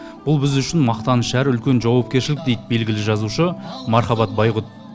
бұл біз үшін мақтаныш әрі үлкен жауапкершілік дейді белгілі жазушы мархабат байғұт